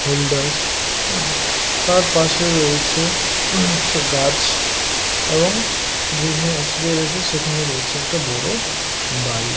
Hold us. হু তার পাশে রয়েছে ছো গাছ এবং যেখানে শুয়ে রয়েছে সেখানে রয়েছে একটা বড় বাড়ি।